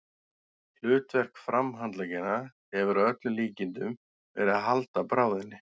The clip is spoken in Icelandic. Hlutverk framhandleggjanna hefur að öllum líkindum verið að halda bráðinni.